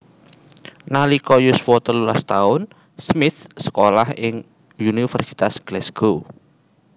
Nalika yuswa telulas taun Smith sekolah ing Universitas Glasgow